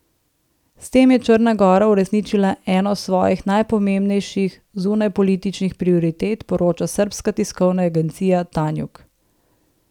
S tem je Črna gora uresničila eno svojih najpomembnejših zunanjepolitičnih prioritet, poroča srbska tiskovna agencija Tanjug.